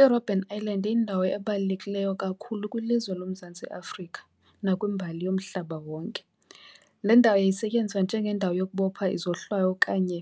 IRobben Island yindawo ebalulekileyo kakhulu kwilizwe loMzantsi Afrika nakwimbali yomhlaba wonke. Le ndawo yayisetyenziswa njengendawo yokubopha izohlwayo, okanye